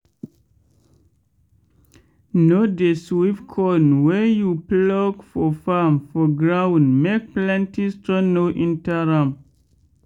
no dey sweep corn wey you pluck for farm for gound make plenty stone no enter am.